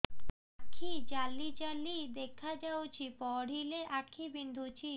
ଆଖି ଜାଲି ଜାଲି ଦେଖାଯାଉଛି ପଢିଲେ ଆଖି ବିନ୍ଧୁଛି